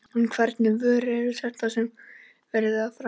En hvernig vörur eru þetta sem verið er að framleiða?